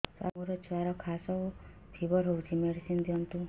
ସାର ମୋର ଛୁଆର ଖାସ ଓ ଫିବର ହଉଚି ମେଡିସିନ ଦିଅନ୍ତୁ